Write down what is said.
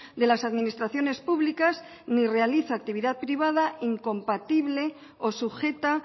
de las administraciones públicas ni realiza actividad privada incompatible o sujeta